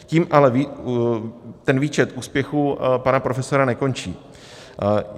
Tím ale ten výčet úspěchů pana profesora nekončí.